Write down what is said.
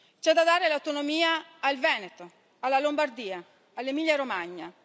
C'è da dare l'autonomia al Veneto, alla Lombardia, all'Emilia Romagna.